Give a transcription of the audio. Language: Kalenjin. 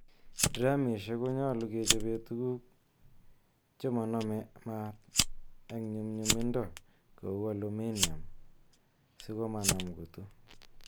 Dramisiek konyolu kechobe tuguk chemonome maat en nyumnyumindo kou aluminium sikomanam kutuu.